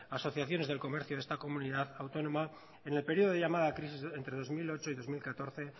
asociaciones de comercio de esta comunidad autónoma en el periodo de llamada crisis entre dos mil ochenta y ocho y dos mil catorce